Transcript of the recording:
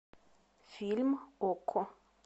фильм окко